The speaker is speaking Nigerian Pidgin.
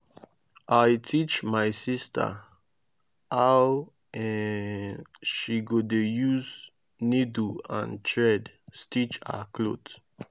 i teach my sista how um she go dey use niddle and thread stitch her clothe.